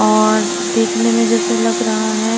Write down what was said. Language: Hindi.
और दिखने में जेसे लग रहा है।